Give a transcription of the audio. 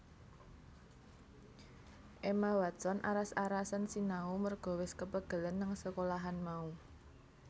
Emma Watson aras arasen sinau merga wes kepegelen nang sekolahan mau